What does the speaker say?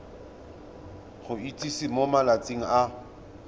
go itsise mo malatsing a